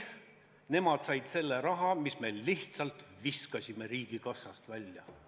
Nemad said selle raha, mille meie olime lihtsalt riigikassast välja visanud.